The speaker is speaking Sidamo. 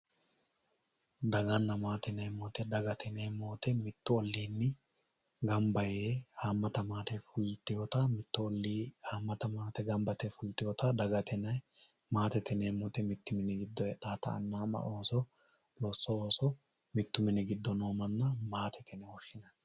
daganna maate yineemmo woyte dagate yineemmoti mittu olliinni hammata maate gamba yiteewota mittu olli haammata maate gamba yite fulteewota dagate yinanni maatete yineemoti mittu mini giddo heedhawota anna ama ooso booso ooso mittu mini giddo noota maatete yineemo